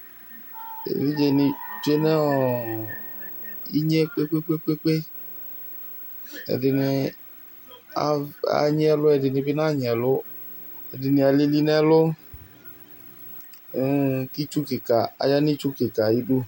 Evidze ni tsue nʋ inye kpe kpe kpe kpe ɛdini anyi ɛlʋ ɛdini bi nanyi ɛlʋ ɛdini alili nʋ ɛlʋ kʋ ayanʋ itsu kika ayʋ idʋ